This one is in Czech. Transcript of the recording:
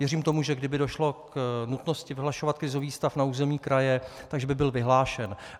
Věřím tomu, že kdyby došlo k nutnosti vyhlašovat krizový stav na území kraje, že by byl vyhlášen.